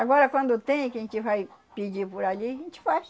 Agora, quando tem, que a gente vai pedir por ali, a gente faz.